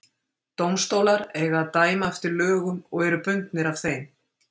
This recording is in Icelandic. dómstólar eiga að dæma eftir lögum og eru bundnir af þeim